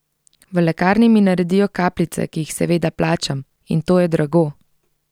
V lekarni mi naredijo kapljice, ki jih seveda plačam, in to je drago.